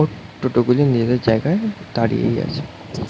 ও টোটো গুলি নিজেদের জায়গায় দাঁড়িয়েই আছে।